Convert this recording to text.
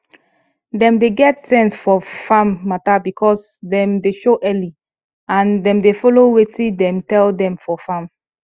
dem dey get sense fof farm matter because dem dey show early and dem dey follow wetin dem tell dem for farm